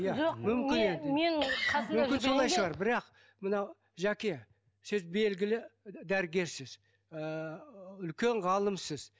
бірақ мынау жәке сіз белгілі дәрігерсіз ыыы үлкен ғалымсыз